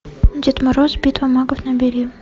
дед мороз битва магов набери